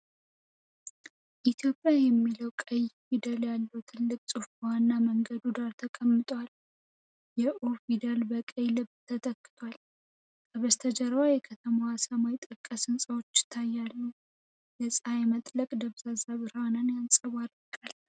ኢትዮጵያ የሚል ቀይ ፊደል ያለው ትልቅ ጽሑፍ በዋና መንገድ ዳር ተቀምጧል። የ 'ኦ' ፊደል በቀይ ልብ ተተክቷል። ከበስተጀርባ የከተማዋን ሰማይ ጠቀስ ሕንፃዎች ይታያሉ፤ የጸሃይ መጥለቅ ደብዛዛ ብርሃን ያንጸባርቃል።